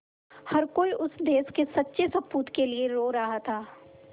हर कोई उस देश के सच्चे सपूत के लिए रो रहा था